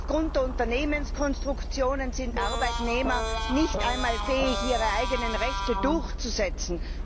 Aufgrund der Unternehmenskonstruktionen sind Arbeitnehmer nicht einmal fähig, ihre eigenen Rechte durchzusetzen.